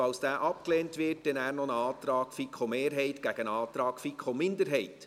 Falls dieser abgelehnt wird, gibt es noch einen Antrag der FiKo-Mehrheit gegen einen Antrag der FiKo-Minderheit.